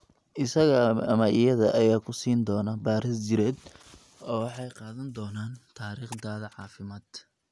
Isaga ama iyada ayaa ku siin doona baadhis jidheed oo waxay qaadan doonaan taariikhdaada caafimaad.